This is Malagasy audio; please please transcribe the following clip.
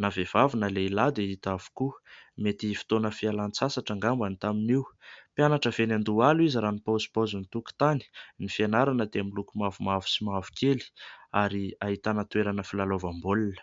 Na vehivavy na lehilahy dia hita avokoa, mety fotoana fialan-tsasatra angamba tamin'io. Mpianatra avy eny Andohalo izy raha ny paozipaozin'ny tokontany, ny fianarana dia miloko mavomavo sy mavokely, ary ahitana toerana filalaovam-baolina.